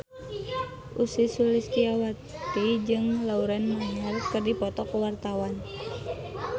Ussy Sulistyawati jeung Lauren Maher keur dipoto ku wartawan